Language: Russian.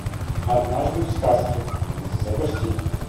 однажды в сказке запусти